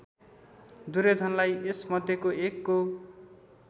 दुर्योधनलाई एसमध्येको एकको